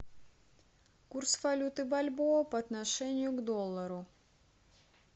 курс валюты бальбоа по отношению к доллару